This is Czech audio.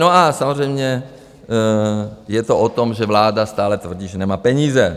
No a samozřejmě je to o tom, že vláda stále tvrdí, že nemá peníze.